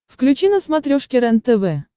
включи на смотрешке рентв